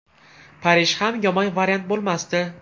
Parij ham yomon variant bo‘lmasdi.